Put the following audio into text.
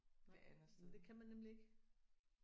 Nej men det kan man nemlig ikke